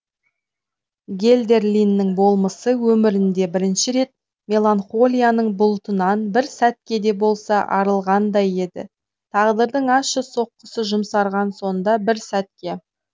гельдерлиннің болмысы өмірінде бірінші рет меланхолияның бұлтынан бір сәтке де болса арылғандай еді тағдырдың ащы соққысы жұмсарған сонда бір сәтке